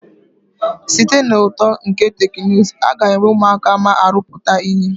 Site na uto nke teknụzụ, aga enwe ụmụaka ma arụpụta ihe.